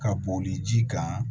Ka bɔn ni ji kan